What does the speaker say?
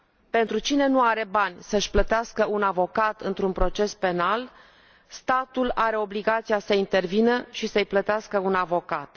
Pentru cine nu are bani să își plătească un avocat într un proces penal, statul are obligația să intervină și să i plătească un avocat.